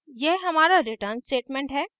यह हमारा return statement है